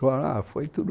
Ah foi tudo